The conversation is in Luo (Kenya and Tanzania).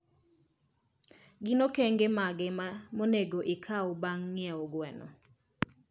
Gin okenge mage monego ikaw bang' ng'iewo gwen?